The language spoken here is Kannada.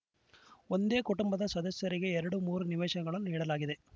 ಒಂದೇ ಕುಟುಂಬದ ಸದಸ್ಯರಿಗೆ ಎರಡು ಮೂರು ನಿವೇಶನಗಳನ್ನು ನೀಡಲಾಗಿದೆ